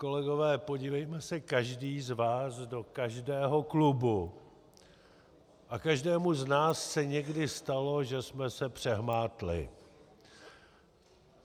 Kolegové, podívejme se každý z vás do každého klubu a každému z nás se někdy stalo, že jsme se přehmátli.